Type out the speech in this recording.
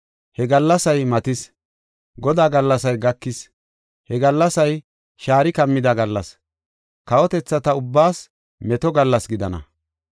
He gallasay matis! Godaa gallasay gakis! He gallasay shaari kammida gallas kawotethata ubbaas meto gallas gidana.